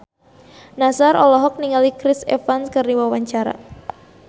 Nassar olohok ningali Chris Evans keur diwawancara